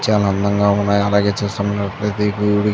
చాలా అందంగా ఉన్నాయి. అలాగే చూస్తున్నట్లయితే ఈ గుడి --